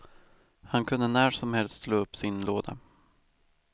Han kunde när som helst slå upp sin låda.